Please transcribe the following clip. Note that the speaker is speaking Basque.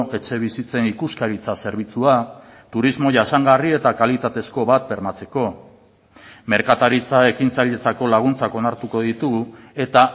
etxebizitzen ikuskaritza zerbitzua turismo jasangarri eta kalitatezko bat bermatzeko merkataritza ekintzailetzako laguntzak onartuko ditugu eta